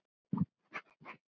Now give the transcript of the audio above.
Hvað hef ég málað áður?